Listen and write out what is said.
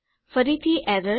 ફરીથી એરર